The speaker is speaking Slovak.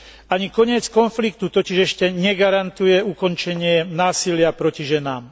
Ani koniec konfliktu totiž ešte negarantuje ukončenie násilia proti ženám.